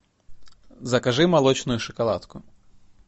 закажи молочную шоколадку